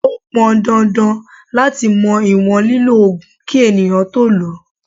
Ó pọn dandan láti mọ ìwọ̀n lílọ Ògùn kí ènìyàn tó lọ.